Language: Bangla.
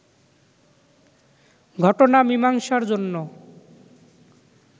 ঘটনা মিমাংসার জন্য